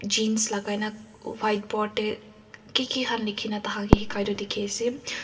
jeans lagaina whiteboard tey ki ki han likhina taihan ke hekai tu dikhiase.